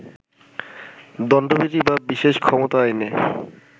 দণ্ডবিধি বা বিশেষ ক্ষমতা আইনে